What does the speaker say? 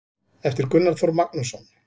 eftir gunnar þór magnússon